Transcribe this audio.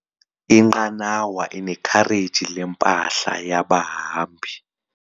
Inqanawa inekhareji lempahla yabahambi.